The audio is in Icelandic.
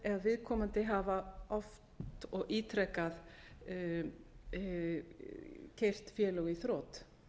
ef viðkomandi hafi oft og ítrekað keyrt félög í þrot